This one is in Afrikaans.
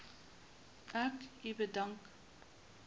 ek u bedank